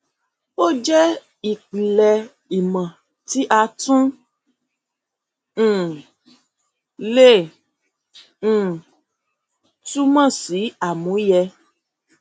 ó jẹ ìpìlẹ ìmò tí a tún um le um túmọ sí àmúyẹ